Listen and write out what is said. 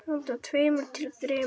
Handa tveimur til þremur